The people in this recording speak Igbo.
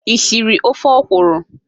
Ị siri ofe okwụrụ?